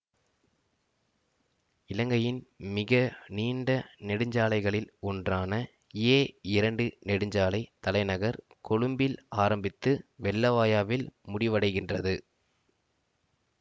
இலங்கையின் மிக நீண்ட நெடுஞ்சாலைகளில் ஒன்றான ஏஇரண்டு நெடுஞ்சாலை தலைநகர் கொழும்பில் ஆரம்பித்து வெள்ளவாயாவில் முடிவடைகின்றது